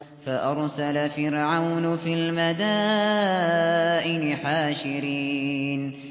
فَأَرْسَلَ فِرْعَوْنُ فِي الْمَدَائِنِ حَاشِرِينَ